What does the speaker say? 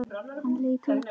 Hann leit út.